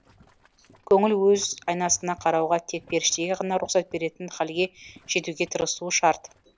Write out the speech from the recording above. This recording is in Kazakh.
көңіл өз айнасына қарауға тек періштеге ғана рұқсат беретін хәлге жетуге тырысуы шарт